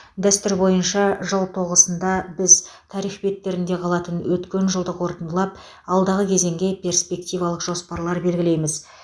дәстүр бойынша жыл тоғысында біз тарих беттерінде қалатын өткен жылды қорытындылап алдағы кезеңге перспективалық жоспарлар белгілейміз